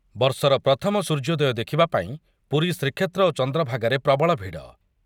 ବର୍ଷର ପ୍ରଥମ ସୂର୍ଯ୍ୟୋଦୟ ଦେଖିବା ପାଇଁ ପୁରୀ ଶ୍ରୀକ୍ଷେତ୍ର ଓ ଚନ୍ଦ୍ରଭାଗାରେ ପ୍ରବଳ ଭିଡ଼